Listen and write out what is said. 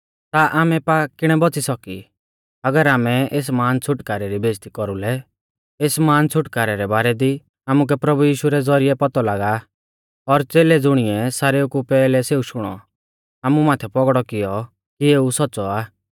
ता आमै पा किणै बौच़ी सौकी अगर आमै एस महान छ़ुटकारै री बेइज़्ज़ती कौरुलै एस महान छ़ुटकारै रै बारै दी आमुकै प्रभु यीशु रै ज़ौरिऐ पौतौ लागौ आ और च़ेलै ज़ुणीऐ सारेऊ कु पैहलै सेऊ शुणौ आमु माथै पौगड़ौ कियौ कि एऊ सौच़्च़ौ आ